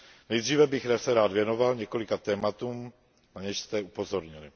Nejdříve bych se rád věnoval několika tématům, na něž jste upozornili.